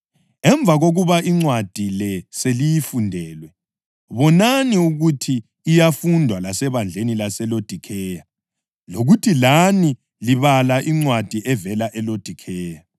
Emva kokuba incwadi le seliyifundelwe, bonani ukuthi iyafundwa lasebandleni laseLodikheya lokuthi lani libale incwadi evela eLodikheya.